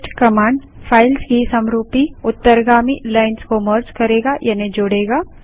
paste command files की समरूपी उत्तरगामी लाइन्स को मर्ज करेगा यानि जोड़ेगा